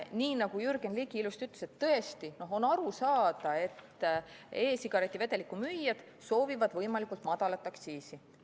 Nii nagu Jürgen Ligi ilusti ütles, on tõesti aru saada, et e-sigareti vedeliku müüjad soovivad võimalikult madalat aktsiisi.